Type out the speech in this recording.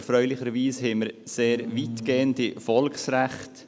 Erfreulicherweise haben wir sehr weitgehende Volksrechte.